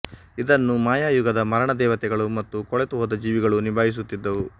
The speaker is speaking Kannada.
ಇದನ್ನು ಮಾಯಾ ಯುಗದ ಮರಣ ದೇವತೆಗಳು ಮತ್ತು ಕೊಳೆತು ಹೋದ ಜೀವಿಗಳು ನಿಭಾಹಿಸುತ್ತಿದ್ದವು